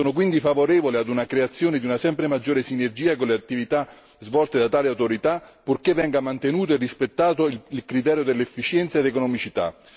Sono quindi favorevole alla creazione di una sempre maggiore sinergia con le attività svolte da tale autorità, purché venga mantenuto e rispettato il criterio dell'efficienza ed economicità.